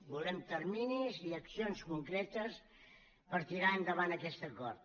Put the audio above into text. volem terminis i accions concretes per tirar endavant aquest acord